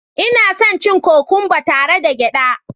Ina son cin kokwamba tare da gyada